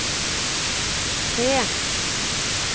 C